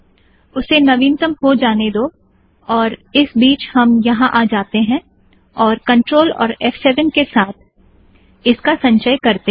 उसे नवीनतम हो जाने दो और इस बीच हम यहाँ आ जाते हैं और CTRL और फ़7 के साथ इसका संचय करतें हैं